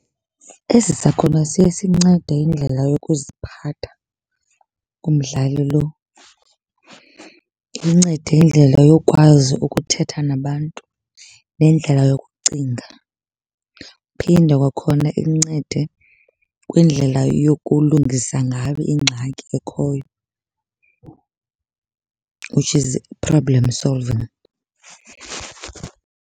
Esi sakhono siye sincede indlela yokuziphatha kumdlali loo. Imncede indlela yokwazi ukuthetha nabantu nendlela yokucinga. Iphinde kwakhona imncede kwindlela yokulungisa ngayo ingxaki ekhoyo, which is problem solving.